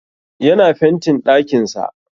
Yana fentin ɗakin sa